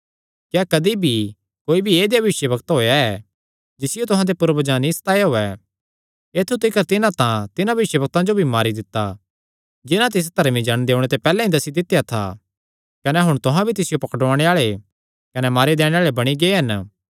क्या कदी भी कोई ऐदेया भविष्यवक्तां होएया ऐ जिसियो तुहां दे पूर्वजां नीं सताया होयैं ऐत्थु तिकर तिन्हां तां तिन्हां भविष्यवक्तां जो भी मारी दित्ता जिन्हां तिस धर्मी जण दे ओणे दी पैहल्ले ते ई दस्सी दित्या था कने हुण तुहां भी तिसियो पकड़ुआणे आल़े कने मारी दैणे आल़े बणी गै हन